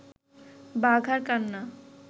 বাঘার কান্না